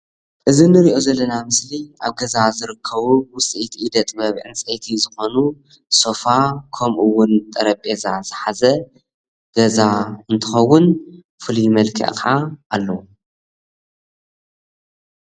እዚ ንሪኦ ዘለና ምስሊ ኣብ ገዛ ዝርከቡ ውፅኢት ኢደጥበብ ዕንፀይቲ ዝኮኑ ሶፋ ከምኡውን ጠረጼዛ ዝሓዘ ገዛ እንትከውን ፍሉይ መልክዕ ከዓ ኣለዎ።